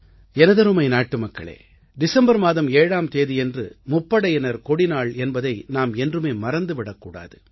எனதருமை நாட்டுமக்களே டிஸம்பர் மாதம் 7ஆம் தேதியன்று முப்படையினர் கொடிநாள் என்பதை நாம் என்றுமே மறந்துவிடக் கூடாது